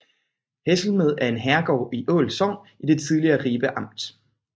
Hesselmed er en herregård i Ål Sogn i det tidligere Ribe Amt